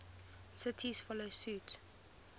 cities follow suit